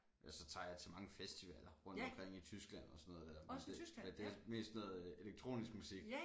Ellers tager jeg til mange festivaller rundt omkring i Tyskland og sådan noget dér men det men det er mest sådan noget elektronisk musik